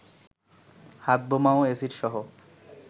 হাতবোমা ও এসিডসহ